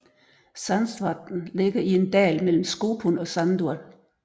Sandsvatn ligger i en dal mellem Skopun og Sandur